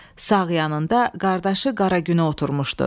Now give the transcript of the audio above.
Sağ yanında qardaşı Qara Günə oturmuşdu.